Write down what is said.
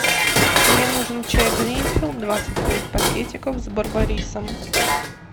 мне нужен чай гринфилд двадцать пять пакетиков с барбарисом